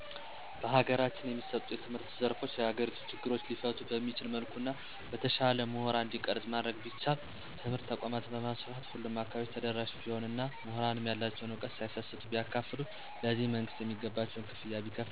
በሀገራችን የሚሰጡ የትምህርት ዘርፎች የሀገሪቱን ችግሮች ሊፈቱ በሚችል መልኩ እና በተሻለ ሙሁራን እንዲቀረጽ ማድረግ ቢቻል. ትምህርት ተቋማትን በማስፋፋት ሁሉም አካባቢ ተደራሽ ቢሆን እና ሙሁራንም ያላቸዉን ዕውቀት ሳይሰስቱ ቢያካፉሉ ,ለዚህም መንግስትም የሚገባቸውን ክፍያ ቢከፍላቸው እንዲሁም የተማረዉ ግለሰብ ደግሞ ከራሱ እድገት በዘለለ ሙያዉን የማህበረሰብ ችግሮችን በመፍታት እና የማህበረሰቡን እድገት በሚያረጋግጥ መልኩ ሊያዉለዉ ይገባል።